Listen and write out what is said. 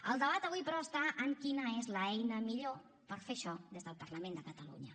el debat avui però està en quina és l’eina millor per fer això des del parlament de catalunya